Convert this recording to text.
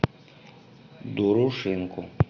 дорошенко